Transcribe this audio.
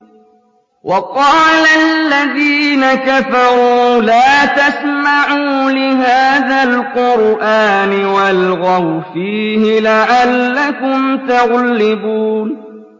وَقَالَ الَّذِينَ كَفَرُوا لَا تَسْمَعُوا لِهَٰذَا الْقُرْآنِ وَالْغَوْا فِيهِ لَعَلَّكُمْ تَغْلِبُونَ